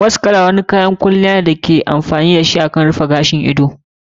Mascara kayan kwalliya ne wanda ake amfani dashi wurin gyara sama ko kasan gashin ido.